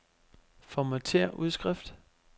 Formatér udskrift.